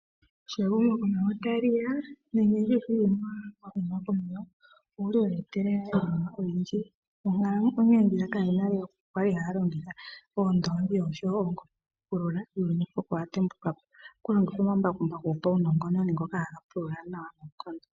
Sho ehumokomeho tali ya nenge nditye sho uuyuni wa huma komeho, owuli wa etelela iinima oyindji. Onkalamwenyo ndjiyaka yo nale yookuku kwali haya longitha oondongi oshowo oongombe okupulula, uuyuni mpoka owa tembuka po. Ohaku longithwa omambakumbaku gopaunongononi ngoka haga pulula nawa noonkondo.